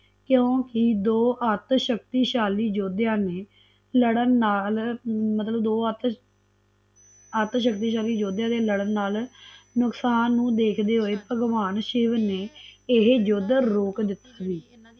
ਕਿਉਕਿ ਦੋ ਅਧਸ਼ਕਤਿਸ਼ਾਲੀ ਯੋਧਿਆ ਨੇ ਲੜਨ ਨਾਲ ਮਤਲਬ ਦੋ ਅਦਸ਼ਕਤੀਸ਼ਾਲੀ ਯੋਧਿਆ ਦੇ ਲੜਨ ਨਾਲਨੁਕਸਾਂ ਨੂੰ ਦੇਖਦੇ ਹੋਏ ਭਗਵਾਨ ਸ਼ਿਵ ਨੇ ਇਹ ਯੁੱਧ ਰੋਕ ਦਿੱਤਾ ਸੀ